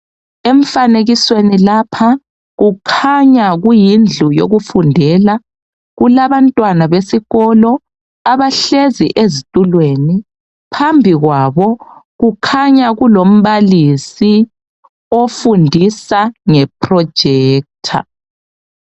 Emfanekisweni lapha kukhanya kuyindlu yokufundela. Kulabantwana besikolo abahlezi ezitulweni. Phambi kwabo kukhanya kulombalisi ofundisa nge projector.